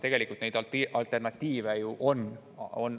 Tegelikult alternatiive ju on.